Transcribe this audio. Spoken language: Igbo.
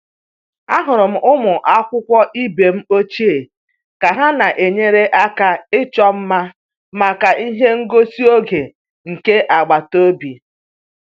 Ahụrụ m ụmụ akwụkwọ ibe m ochie ka ha na-enyere aka ịchọ mma maka ihe ngosi oge nke agbata obi